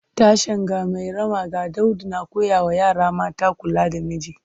Tashen 'Ga Mairama ga Daudu’ na koya wa yara mata kula da miji